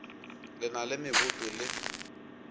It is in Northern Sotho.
le na le meboto le